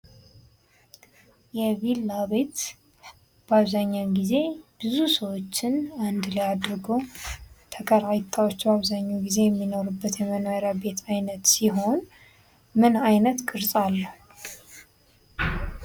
የቢላ ቤት በአብዛኛውን ጊዜ ብዙ ሰዎችን አንድ ላይ አድርጎ ተከራይታወች በአብዛኛው የሚኖሩበት የመኖሪያ የቤት ዓይነት ሲሆን ምን አይነት ቅርጽ አለው?